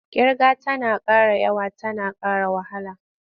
Ƙirga tana ƙara yawa tana ƙara wahala.